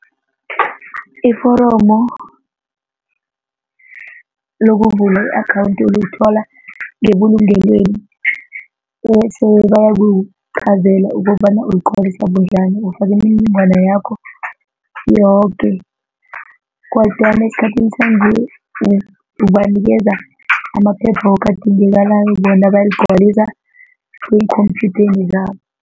Iforomo lokuvula i-akhawundi ulithola ngebulungelweni bese bayakuqhazele ukobana uligcwalisa bunjani ufaka imininingwana yakho yoke kodwana esikhathini sanje ubanikeza amaphepha woke adingekalako bona bayaligcwaliswa eenkhomphyutheni zabo.